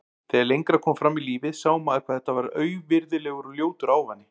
Þegar lengra kom fram í lífið sá maður hvað þetta var auvirðilegur og ljótur ávani.